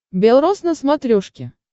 бел рос на смотрешке